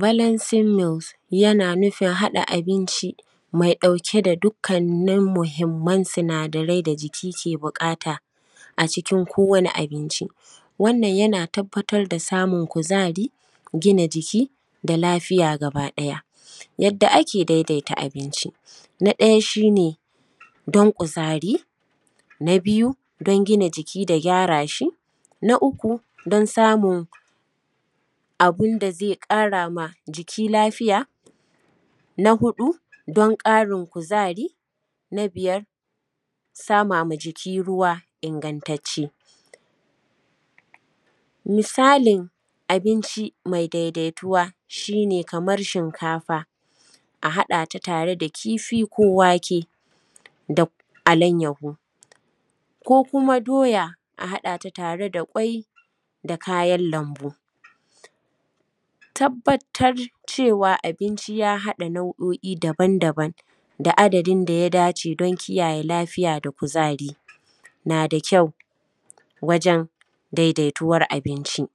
Balasil mil yana nufin haɗa abincin mai ɗauke da dukkanın mahimman sinadarai da jiki ke buƙata a cikin kowani abinci. Wannan yana tabbatar da samun kuzari, gina jiki, da lafiya gaba ɗaya. Yadda ake daidaita abinci: Na ɗaya shi ne don kuzari. Na biyu don gina jiki da gyara shi. Na uku don samun abun da zai ƙarama jiki lafiya. Na hudu don karin kuzari. Na biyar sama ma jiki ruwa ingantace. Misalin abinci mai daidaituwa shi ne kamar shinkafa a haɗata tare da kifi ko wake da alainyahu, ko kuma doya a haɗata tare da kwai da kayan lambu. Tabbatar cewa abinci ya hada nau’o’i dabam dabam da adadin daya dace don kiyayye lafiya da kuzari na da kyau wajen daidaituwar abinci.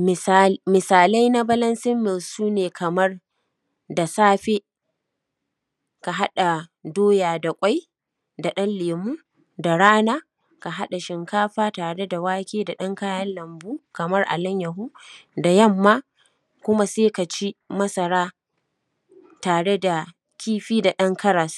Misali, misalai na balansil mil su ne kamar da safe ka haɗa doya da kwai da dan lemo, da rana ka haɗa shinkafa da wake da ɗan kayan lambu kaman alainyahu, da yamma kuma sai kaci masara tare da kifi da ɗan karas.